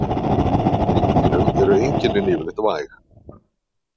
Hjá hreindýrum eru einkennin yfirleitt væg.